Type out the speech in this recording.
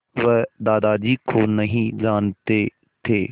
वह दादाजी को नहीं जानते थे